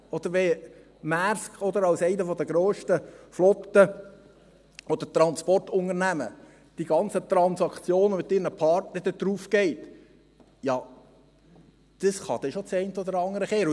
Oder wenn Maersk als eine der grössten Flotten oder Transportunternehmen die ganzen Transaktionen mit ihren Partnern darauflegt, dann kann das schon das eine oder andere drehen.